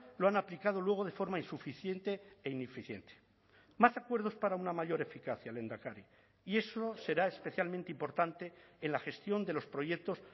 lo han aplicado luego de forma insuficiente e ineficiente más acuerdos para una mayor eficacia lehendakari y eso será especialmente importante en la gestión de los proyectos